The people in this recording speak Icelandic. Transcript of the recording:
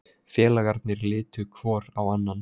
Félagarnir litu hvor á annan.